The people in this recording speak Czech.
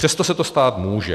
Přesto se to stát může.